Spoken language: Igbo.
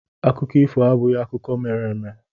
Akụkọ ifo abụghị akụkọ mere eme.